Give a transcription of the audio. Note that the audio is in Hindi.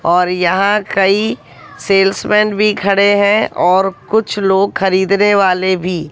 और यहां कई सेल्समैन भी खड़े है और कुछ लोग खरीदने वाले भी--